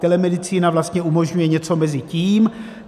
Telemedicína vlastně umožňuje něco mezi tím.